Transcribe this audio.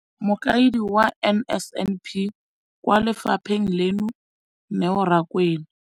Mokaedi wa NSNP kwa lefapheng leno, Neo Rakwena,